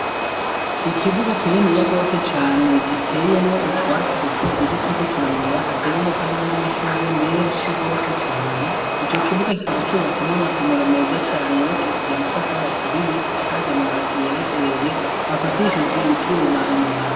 Ikibuga kininiya gose cane giteyemwo utwatsi dutoduto turiko turamera, hateyemwo kandi n'amashugwe menshi gose cane, ico kibuga kikaba cubatsemwo amasomero meza cane, yubakishije amatafari aturiye, asakaje amabati yera derere, afatishije ivyuma ayo mabati.